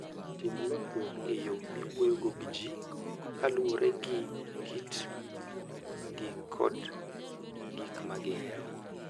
Tim lokruok e yo miwuoyogo gi ji kaluwore gi kitgi kod gik ma gihero.